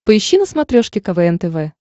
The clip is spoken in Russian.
поищи на смотрешке квн тв